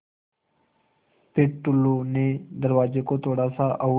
फ़िर टुल्लु ने दरवाज़े को थोड़ा सा और